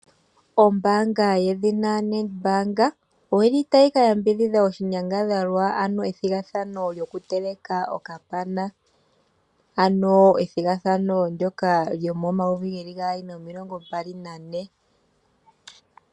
Ombaanga yedhina NEDBANK oyili tayi ka yambidhidha oshinyangadhalwa, ano ethigathano lyoku teleka okapana, ano ethigathano ndyoka lyomomayovi geeli gaali nomilongo mbali nane.